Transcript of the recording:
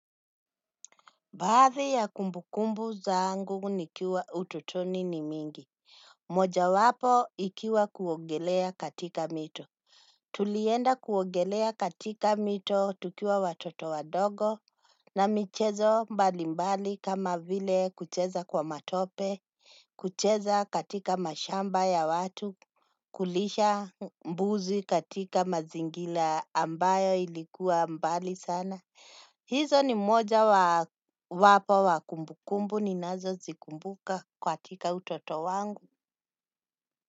Baadhi ya kumbukumbu zangu nikiwa utotoni ni mingi. Mojawapo ikiwa kuogelea katika mito. Tulienda kuogelea katika mito tukiwa watoto wadogo. Na michezo mbalimbali kama vile kucheza kwa matope. Kucheza katika mashamba ya watu kulisha mbuzi katika mazingila ambayo ilikuwa mbali sana. Hizo ni mojawapo wa kumbukumbu ninazozikumbuka katika utoto wangu.